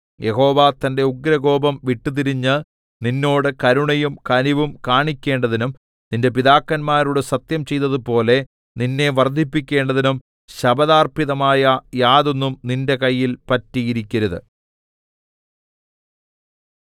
യഹോവ തന്റെ ഉഗ്രകോപം വിട്ടുതിരിഞ്ഞ് നിന്നോട് കരുണയും കനിവും കാണിക്കേണ്ടതിനും നിന്റെ പിതാക്കന്മാരോട് സത്യം ചെയ്തതുപോലെ നിന്നെ വർദ്ധിപ്പിക്കേണ്ടതിനും ശപഥാർപ്പിതമായ യാതൊന്നും നിന്റെ കയ്യിൽ പറ്റിയിരിക്കരുത്